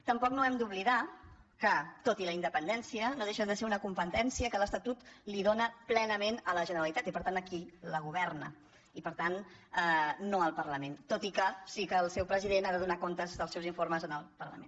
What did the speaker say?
tampoc no hem d’oblidar que tot i la independència no deixa de ser una competència que l’estatut li dóna plenament a la generalitat i per tant a qui la governa i per tant no al parlament tot i que sí que el seu president ha de donar comptes dels seus informes al parlament